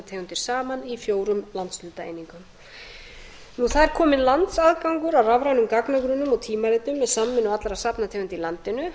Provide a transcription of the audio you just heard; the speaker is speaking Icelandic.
safnategundir saman í fjórum landshlutaeiningum það er kominn landsaðgangur að rafrænum gagnagrunnum og tímaritum með samvinnu allra safnategunda í landinu